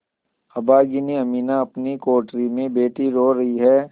अभागिनी अमीना अपनी कोठरी में बैठी रो रही है